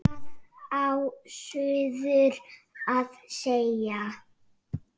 Hvað á suður að segja?